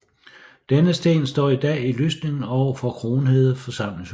Denne sten står i dag i lysningen overfor Kronhede forsamlingshus